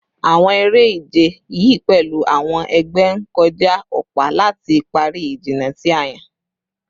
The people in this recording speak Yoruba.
Awọn ere-ije yii pẹlu awọn ẹgbẹ ti n kọja ọpa lati pari ijinna ti a yan